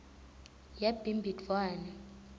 yabhimbidvwane